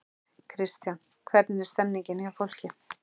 Kristján: Hvernig er stemmningin hjá fólki?